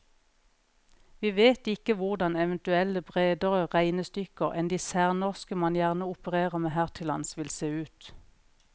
Vi vet ikke hvordan eventuelle bredere regnestykker enn de særnorske man gjerne opererer med her til lands, vil se ut.